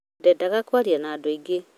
ndendaga kwaria na andũ aingĩ